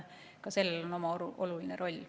Ka sellel on oma oluline roll.